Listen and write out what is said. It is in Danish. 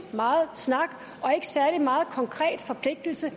meget snak og ikke særlig meget konkret forpligtelse